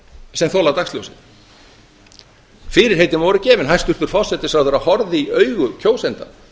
sem þola dagsljósið fyrirheitin voru gefin hæstvirtur forsætisráðherra horfði í augu kjósenda